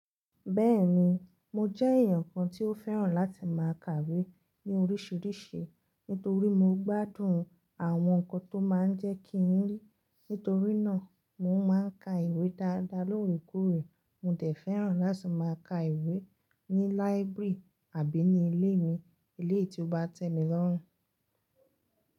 Bẹ́ẹ̀ni, mo jẹ́ èèyàn kan tí ó fẹ́ràn láti má a kàwé ní oríṣiríṣi, nítorí mo gbádùn àwọn nǹkan tó máa ń jẹ́ kí n rí. Nítorínà, mo má a n ka ìwé dáadáa lóorekoore. Mo dẹ̀ fẹ́ràn láti má a ka ìwé ní láíbírì àbí ní ilé mi, ilé tí ó bá tẹ́ mi lọ́rùn.